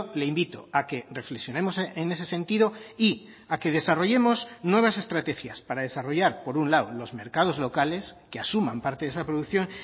le invito a que reflexionemos en ese sentido y a que desarrollemos nuevas estrategias para desarrollar por un lado los mercados locales que asuman parte de esa producción